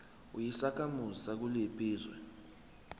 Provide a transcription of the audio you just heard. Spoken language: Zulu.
uyisakhamuzi sakuliphi izwe